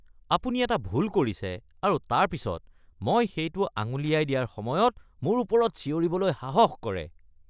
আপুনি এটা ভুল কৰিছে আৰু তাৰ পিছত মই সেইটো আঙুলিয়াই দিয়াৰ সময়ত মোৰ ওপৰত চিঞৰিবলৈ সাহস কৰে।